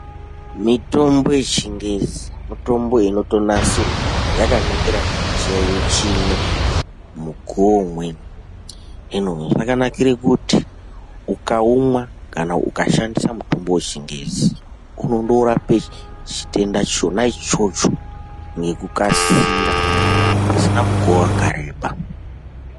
Mitombo yeChiNgezi mitombo inotonasirwa yakaningirana nechiyaiyo chimwe, mukuwo umweni. Yakanakire kuti ukaumwa kana ukashandisa mutombo weChingezi unondorape chitenda chona ichocho nekukasira pasina mukuwo wakareba.